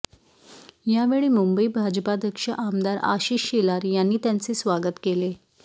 यावेळी मुंबई भाजपाध्यक्ष आमदार आशिष शेलार यांनी त्याचे स्वागत केले